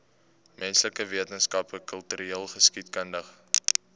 menslike wetenskappe kultureelgeskiedkundige